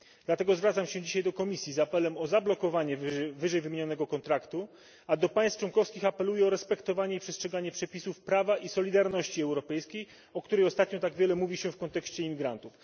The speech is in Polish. Dlatego zwracam się dzisiaj do Komisji z apelem o zablokowanie wyżej wymienionego kontraktu, a do państw członkowskich apeluję o respektowanie i przestrzeganie przepisów prawa i solidarności europejskiej, o której ostatnio tak wiele mówi się w kontekście imigrantów.